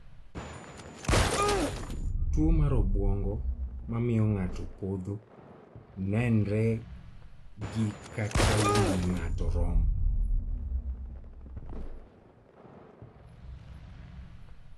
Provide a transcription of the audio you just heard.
. Tuo mar obwongo mamio ng'ato podho nenre gi kaka wii ng'ato rom